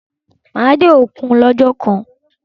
Máa dé òkun lọ́jọ́ kan.